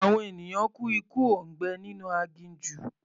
Àwọn ènìyàn kú ikú òǹgbẹ nínú aginjù.